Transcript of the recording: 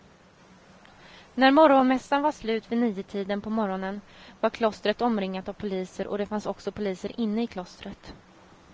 När morgonmässan var slut vid niotiden på morgonen var klostret omringat av poliser och det fanns också poliser inne i klostret.